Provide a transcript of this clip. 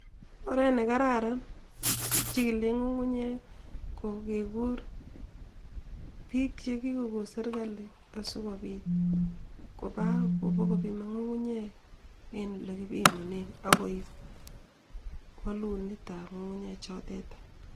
Oret ne kararan, kichikilei ngungunyek kokeker biik chekikokon serikali asikopit koba ipkopiman ngungunyek eng olekipimane akoip walunetab ngungunyek chotet.